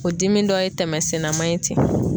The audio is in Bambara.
O dimi dɔ ye tɛmɛsenna man ye ten.